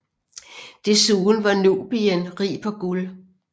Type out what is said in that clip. Desuden var Nubien rig på guld